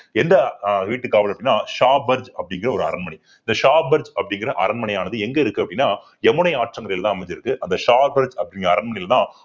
எந்த ஆஹ் வீட்டுக்காவல் அப்படின்னா ஷாபாஜ் அப்படிங்கிற ஒரு அரண்மனை ஷாபாஜ் அப்படிங்கிற அரண்மனையானது எங்க இருக்கு அப்படின்னா யமுனை ஆற்றங்கரையிலதான் அமைஞ்சிருக்கு அந்த ஷாபாஜ் அப்படிங்கிற அரண்மனையிலதான்